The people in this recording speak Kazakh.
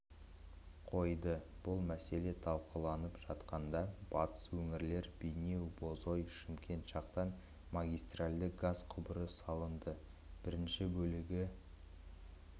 қойды бұл мәселе талқыланып жатқанда батыс өңірлер бейнеу-бозой-шымкент жақтан магистральды газ құбыры салынды бірінші бөлігі